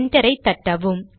enter ஐ தட்டவும்